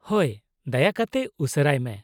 ᱦᱳᱭ, ᱫᱟᱭᱟ ᱠᱟᱛᱮ ᱩᱥᱟᱹᱨᱟᱭ ᱢᱮ ᱾